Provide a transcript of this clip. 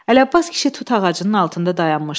Ələbbas kişi tut ağacının altında dayanmışdı.